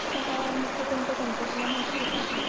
सहा मग ते कोणते कोणते तुला माहितीये का?